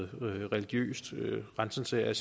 religiøs renselse af